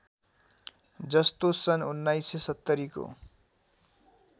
जस्तो सन् १९७० को